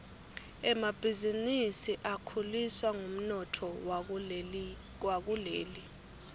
emabhizinisi akhuliswa ngumnotfo wakuleli